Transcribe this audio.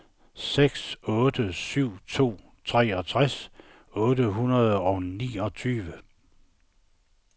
seks otte syv to treogtres otte hundrede og niogtyve